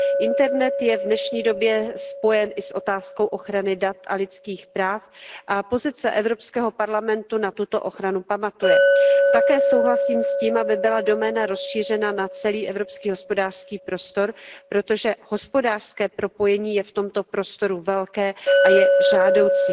Internet je v dnešní době spojen i s otázkou ochrany dat a lidských práv a pozice EP na tuto ochranu pamatuje. Také souhlasím s tím, aby byla doména rozšířena na celý evropský hospodářský prostor, protože hospodářské propojení je v tomto prostoru velké a je žádoucí.